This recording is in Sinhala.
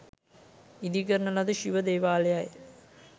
ඉදිකරන ලද ශිව දේවාලයයි.